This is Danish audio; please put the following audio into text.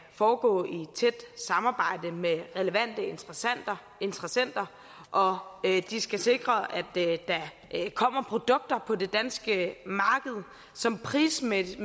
foregå i tæt samarbejde med relevante interessenter og de skal sikre at der kommer produkter på det danske marked som prismæssigt